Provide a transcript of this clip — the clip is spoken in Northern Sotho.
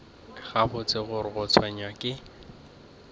gabotse gore o tshwenywa ke